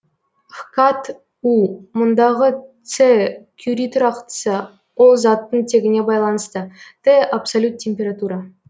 хкат у мұндагы с кюри тұрақтысы ол заттың тегіне байланысты т абсолют температура